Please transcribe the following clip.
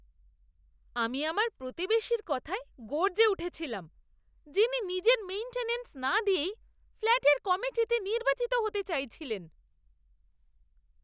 আমি আমার প্রতিবেশীর কথায় গর্জে উঠেছিলাম, যিনি নিজের মেইন্টেনেন্স না দিয়েই ফ্ল্যাটের কমিটিতে নির্বাচিত হতে চাইছিলেন!